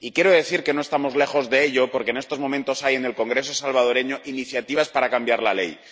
Y quiero decir que no estamos lejos de ello, porque en estos momentos hay en el Congreso salvadoreño iniciativas para cambiar la ley.